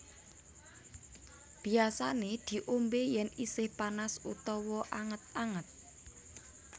Biasané diombé yén isih panas utawa anget anget